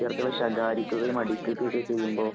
വിദ്യാര്‍ത്ഥികളെ ശകാരിക്കുകയും, അടിക്കുകയും ഒക്കെ ചെയ്യുമ്പോ